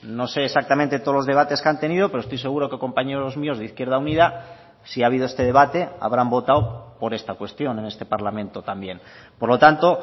no sé exactamente todos los debates que han tenido pero estoy seguro que compañeros míos de izquierda unida si ha habido este debate habrán votado por esta cuestión en este parlamento también por lo tanto